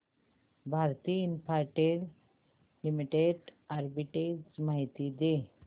Bharti Infratel limited arbitrage माहिती दे